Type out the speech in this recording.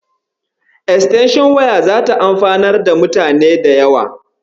Estenshon waya zata amfanar da mutane da yawa.